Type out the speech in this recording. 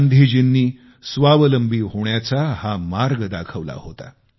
गांधीजींनी स्वावलंबी होण्याचा हा मार्ग दाखविला होता